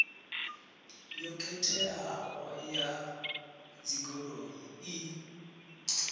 yo khetheaho ya dzigoloi i